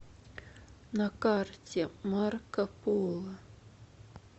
на карте марко поло